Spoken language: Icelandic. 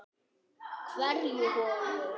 Hverja holu.